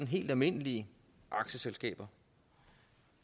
helt almindelige aktieselskaber